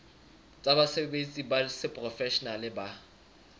tsa basebetsi ba seprofeshenale ba